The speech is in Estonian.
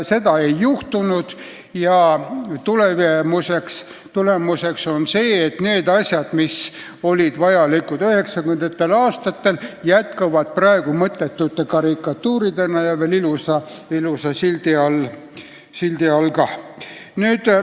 Seda ei juhtunud ja tulemuseks on see, et need asjad, mis olid vajalikud 1990. aastatel, jätkuvad praegu mõttetute karikatuuridena ja veel ilusa sildi all.